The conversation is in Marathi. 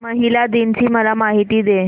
महिला दिन ची मला माहिती दे